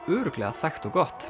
örugglega þægt og gott